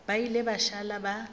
ba ile ba šala ba